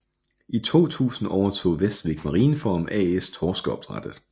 I 2000 overtog Vestvik Marinefarm AS torskeopdrættet